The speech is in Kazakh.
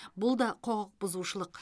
бұл да құқықбұзушылық